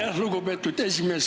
Aitäh, lugupeetud esimees!